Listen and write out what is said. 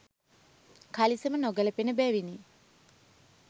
කලිසම නොගැළපෙන බැවිනි.